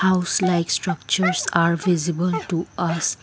house like structures are visible to us.